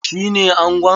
Shi ne angon?